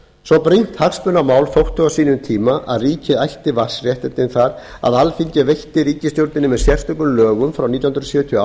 svo brýnt hagsmunamál þótti á sínum tíma að ríkið ætti vatnsréttindi þar að alþingi veitti ríkisstjórninni með sérstökum lögum frá nítján hundruð sjötíu og